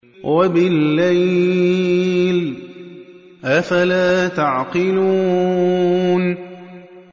وَبِاللَّيْلِ ۗ أَفَلَا تَعْقِلُونَ